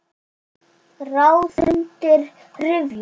Ráð undir rifjum.